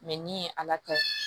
ni ye ala ta